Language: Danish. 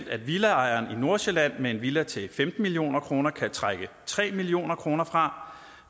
at villaejeren i nordsjælland med en villa til femten million kroner kan trække tre million kroner fra